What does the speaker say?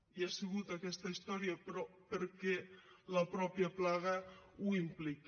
i ha sigut aquesta història però perquè la mateixa plaga ho implica